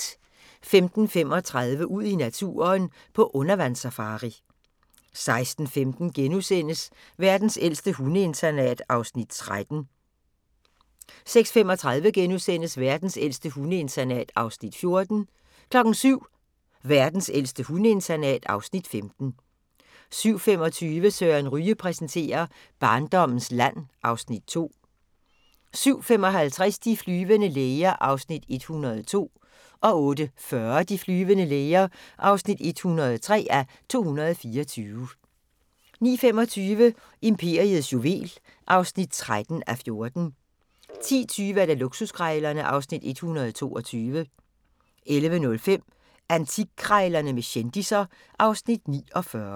05:35: Ud i naturen: På undervandssafari 06:15: Verdens ældste hundeinternat (Afs. 13)* 06:35: Verdens ældste hundeinternat (Afs. 14)* 07:00: Verdens ældste hundeinternat (Afs. 15) 07:25: Søren Ryge præsenterer: Barndommens land (Afs. 2) 07:55: De flyvende læger (102:224) 08:40: De flyvende læger (103:224) 09:25: Imperiets juvel (13:14) 10:20: Luksuskrejlerne (Afs. 122) 11:05: Antikkrejlerne med kendisser (Afs. 49)